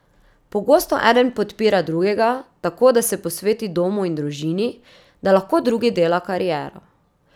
Pogosto eden podpira drugega, tako da se posveti domu in družini, da lahko drugi dela kariero.